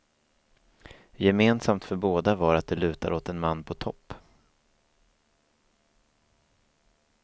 Gemensamt för båda var att det lutar åt en man på topp.